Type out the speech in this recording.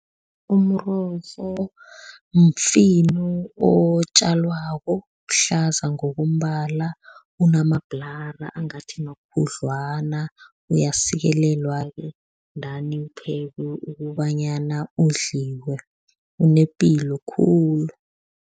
Umrorho mfino otjalwako, uhlaza ngokombala, unamabhulara angathi makhudlwana, uyasikelelwa-ke dan uphekwe ukobanyana udliwe. Unepilo khulu.